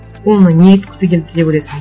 оның не айтқысы келді деп ойлайсың